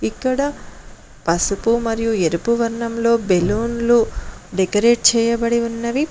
ఇక్కడ పసుపు మరియు ఎరుపు వర్ణంలో బెలూన్లు డెకరేట్ చేయబడి ఉన్నవి.